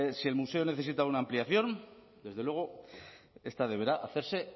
si el museo necesita una ampliación desde luego esta deberá hacerse